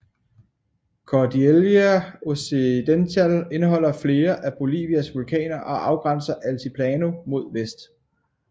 Cordillera Occidental indeholder flere af Bolivias vulkaner og afgrænser Altiplano mod vest